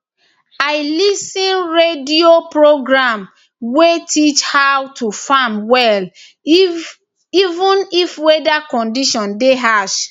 i lis ten radio program wey teach how to farm well even if weather condition dey harsh